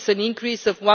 This is an increase